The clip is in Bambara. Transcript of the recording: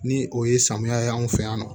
Ni o ye samiya ye anw fɛ yan nɔ